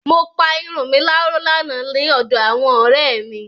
Mo pa irun mi láró lánàá ní ọ̀dọ àwọn ọ̀rẹ́ mi.